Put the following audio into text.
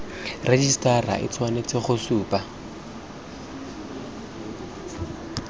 rejisetara e tshwanetse go supa